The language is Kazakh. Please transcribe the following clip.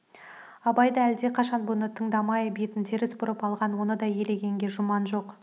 абай да әлдеқашан бұны тыңдамай бетін теріс бұрып алған оны да елеген жұман жоқ